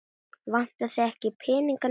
Vantar þig ekki peninga núna?